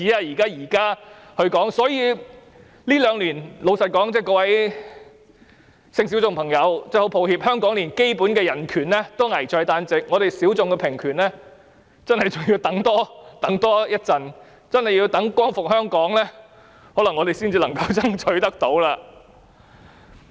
所以，各位性小眾朋友，真的很抱歉，香港這兩年連基本人權也危在旦夕，性小眾平權真的還要多等一會，可能真的要待光復香港，才能夠爭取得到。